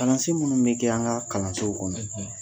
Kalansen minnu bɛ kɛ an ka kalansow kɔnɔ